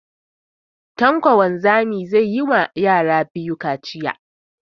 Tanko wanzami zai yi ma yara biyu kaciya